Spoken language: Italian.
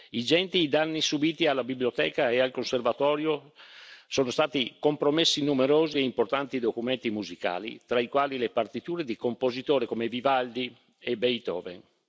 Ingenti i danni subiti dalla biblioteca e dal Conservatorio sono stati compromessi numerosi e importanti documenti musicali, tra i quali le partiture di compositori come Vivaldi e Beethoven.